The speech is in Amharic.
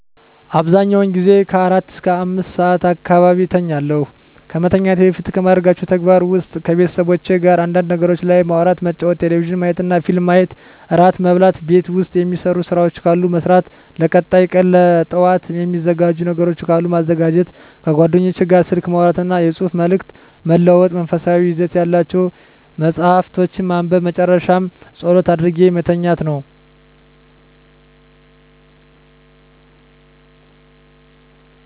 አብዛኛውን ጊዜ ከአራት እስከ አምስት ሰዓት አካባቢ እተኛለሁ። ከመተኛቴ በፊት ከማደርጋቸው ተግባራት ውስጥ ከቤተሰቦቼ ጋር አንዳንድ ነገሮች ላይ ማውራት መጫወት ቴሌቪዥን ማየትና ፊልም ማየት እራት መብላት ቤት ውስጥ የሚሰሩ ስራዎች ካሉ መስራት ለቀጣይ ቀን ለጠዋት የሚዘጋጅ ነገሮች ካሉ ማዘጋጀት ከጓደኞቼ ጋር ስልክ ማውራትና የፅሁፍ መልዕክት መለዋወጥ መንፈሳዊ ይዘት ያላቸውን መፃሀፍቶችን ማንበብ በመጨረሻ ፀሎት አድርጌ መተኛት ነው።